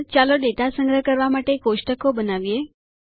આગળ ચાલો ડેટા સંગ્રહ કરવા માટે કોષ્ટકો બનાવીએ